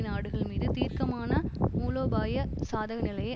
நாடுகள்மீது தீர்க்கமான மூலோபாய சாதக நிலையை